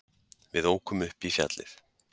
Við ókum upp í fjallið.